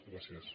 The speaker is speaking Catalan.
gràcies